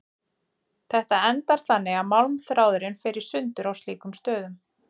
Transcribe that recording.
Þetta endar þannig að málmþráðurinn fer í sundur á slíkum stöðum.